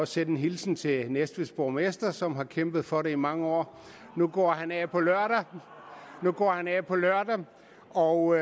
sende en hilsen til næstveds borgmester som har kæmpet for det i mange år nu går han af på lørdag og